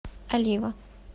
олива